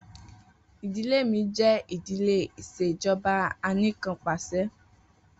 Idile mi jẹ idile ìṣèjọba Anìkanpàṣẹ.